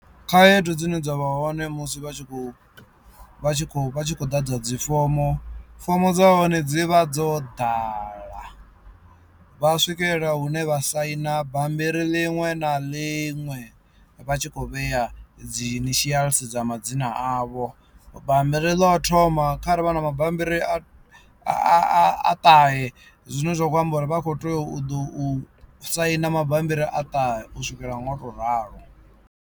Khaedu dzine dza vha hone musi vha tshi vha tshi kho vha tshi kho vha tshi khou ḓadza dzifomo fomo dza hone dzi vha dzo ḓala vha swikelela hune vha saina bammbiri ḽiṅwe na ḽiṅwe vha tshi kho vhea dzi initials dza madzina avho, bammbiri ḽo u thoma kha ri vha na mabambiri a a a ṱahe zwine zwa kho amba uri vha kho teo u ḓo u saina mabambiri a ṱahe u swikela ngo to ralo.